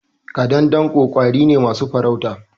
Ƙadandanko ƙwari ne masu farauta.